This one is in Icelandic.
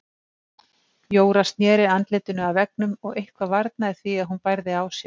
Jóra sneri andlitinu að veggnum og eitthvað varnaði því að hún bærði á sér.